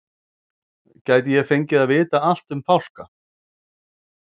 gæti ég fengið að vita allt um fálka